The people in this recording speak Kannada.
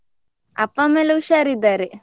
ಅಪ್ಪ ಅಮ್ಮಾ ಎಲ್ಲ ಉಷಾರಿದ್ದಾರೆ.